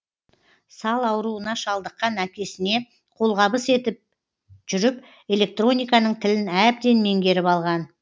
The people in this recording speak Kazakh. сал ауруына шалдыққан әкесіне қолғабыс етіп жүріп электрониканың тілін әбден меңгеріп алған